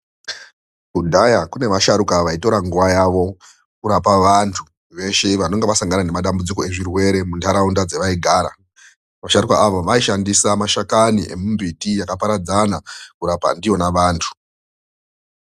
Kudhaya kune vasharuka vaitora nguva yavo kurapa vantu veshe vanenge vasangana nemadambudziko ezvirwere mundaraunda dzavaigara. Vasharuka ava vaishandisa mashakani emimbiti yakaparadzana kurapa ndiyona vanthu.